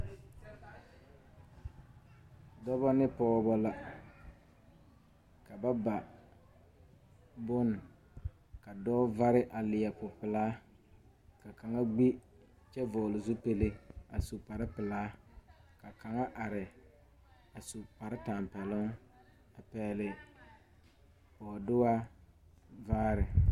Dɔbɔ ne pɔɔbɔ la ka ba ba bone ka dɔɔ vare a leɛ popelaa ka kaŋa gbi kyɛ vɔgle zupile a su kparepelaa ka kaŋa are a su kparetapɛloŋ a pɛgle bɔɔduaa vaare.